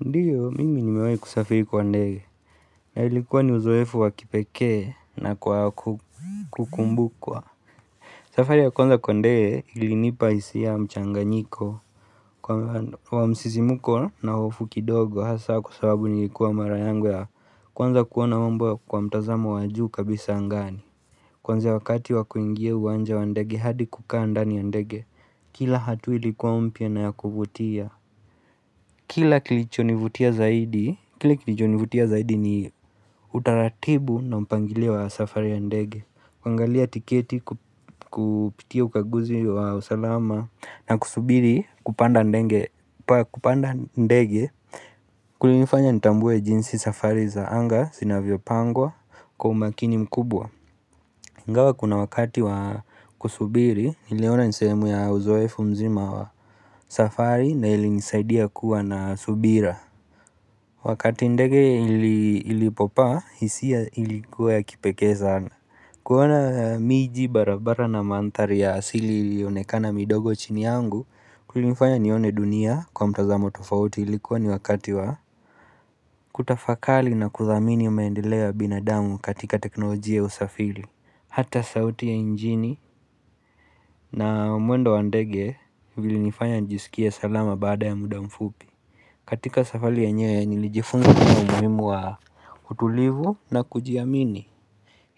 Ndiyo, mimi nimewahi kusafiri kwa ndege, na ilikuwa ni uzoefu wakipekee nakwa kukumbukwa. Safari ya kwanza kwa ndege ilinipa hisia mchanganyiko, kwa msisimko na hofu kidogo hasa kwa sababu nilikuwa mara yangu ya kwanza kuwa na mambo ya kwa mtazamo wa juu kabisa angani. Kwanza wakati wakuingia uwanja wa ndege hadi kukaa ndani ya ndege, kila hatua ilikuwa mpya na ya kuvutia. Kila kilichonivutia zaidi. Kila kilichonivutia zaidi ni utaratibu na mpangilio wa safari ya ndege kuangalia tiketi kupitia ukaguzi wa usalama na kusubiri kupanda ndege. Kulinifanya nitambue jinsi safari za anga sinavyopangwa kwa umakini mkubwa ingawa kuna wakati wa kusubiri niliona nisehemu ya uzoefu mzima wa safari na ilinisaidia kuwa na subira Wakati ndege ilipopaa, hisia ilikuwa ya kipekee sana. Kuona miji barabara na manthari ya asili ilionekana midogo chini yangu, kulifanya nione dunia kwa mtazamo tofauti ilikuwa ni wakati wa kutafakali na kudhamini maendeleo ya binadamu katika teknolojia ya usafiri, hata sauti ya mjini na mwendo wa ndege ulinifanya nijisikie salama baada ya muda mfupi. Katika safari yenyewe nilijifunza na umuhimu wa utulivu na kujiamini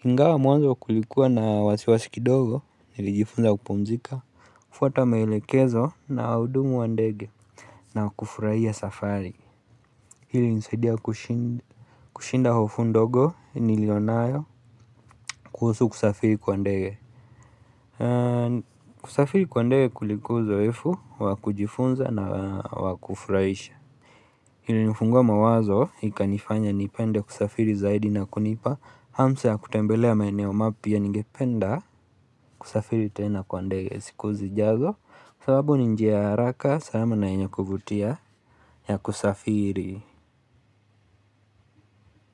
Ingawa mwanzo kulikuwa na wasi wasi kidogo nilijifunza kupumzika kufuata maelekezo na wahudumu wa ndege na wakufurahia safari Hii ilinisaidia kushinda kushinda hofu ndogo nilionayo kuhusu kusafiri kwa ndege kusafiri kwa ndege kulikuwa uzoefu wakujifunza na wakufurahisha ilinifungua mawazo ikanifanya nipende kusafiri zaidi na kunipa hamsa ya kutembelea maeneo mapya ningependa kusafiri tena kwa ndege siku zijazo sababu ni njia ya haraka salama na yenye kuvutia ya kusafiri.